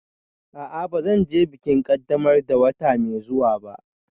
A'a, ba zan je bikin ƙaddamar da wata mai zuwa ba